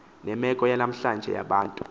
nemeko yanamhlanje yabantu